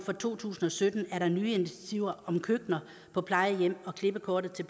for to tusind og sytten er der nye initiativer om køkkener på plejehjem og klippekortet til